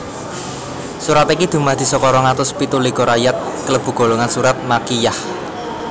Surat iki dumadi saka rong atus pitu likur ayat klebu golongan surat surat Makkiyyah